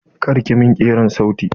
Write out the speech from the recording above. Kar ki min kirar sauti!